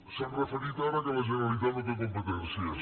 s’han referit ara al fet que la generalitat no té competències